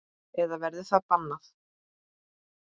Eða verður það bannað?